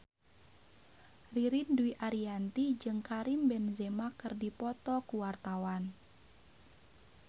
Ririn Dwi Ariyanti jeung Karim Benzema keur dipoto ku wartawan